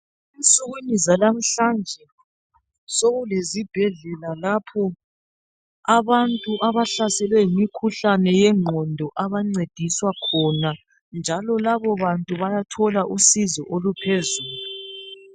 Ensukwini zalamuhlanje sokuleszbhedlela lapho abantu abahlaselwe yimikhuhlane yengqondo abancediswa khona njalo labo bantu bayathola usizo oluphezulu.